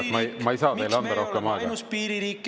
… miks meie oleme ainus piiririik, kes tahab sõtta minna?